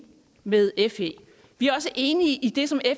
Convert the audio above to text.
med fe vi er også enige i det som